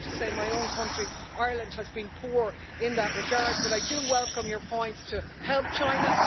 I have to say my own country, Ireland, has been poor in that regard, but I do welcome your points to help China.